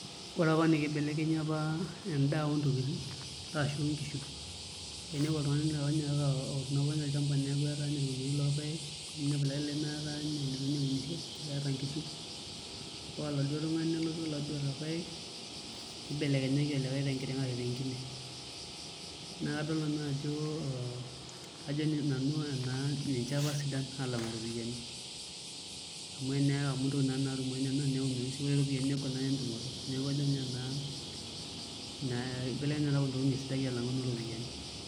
Ore apa naa kibelekenyi apa endaa ontokiting onkishu, ainepu oltung'ani otuuno apa ninye olchamba neeku eeta irkuniyiani lorpaek nemiraki olikae tung'ani litu apa ninye eunisho kake eeta nkishu ore oladuo tung'ani oota irpaek nibelekenyaki olikae tenkiteng' arashu te enkine, naa kadol nanu ajo ee ninche apa sidan aalang'u iropiyiani amu intokiting naa naatumoyu nena neunoyu sii negol sii entumoto neeku kajo nanu enaa ina kibelekenyata oontokiting apa esidai.